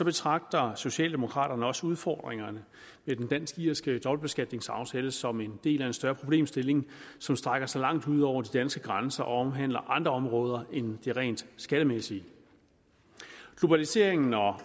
betragter socialdemokraterne også udfordringerne i den dansk irske dobbeltbeskatningsaftale som en del af en større problemstilling som strækker sig langt ud over de danske grænser og omhandler andre områder end de rent skattemæssige globaliseringen og